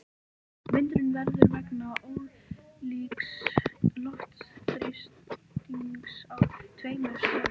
Vindurinn verður vegna ólíks loftþrýstings á tveimur stöðum.